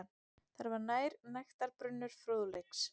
Þar var nægtabrunnur fróðleiks.